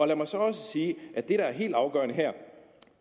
lad mig så også sige at det der er helt afgørende her